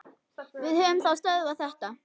Við höfum þá stöðvað þetta.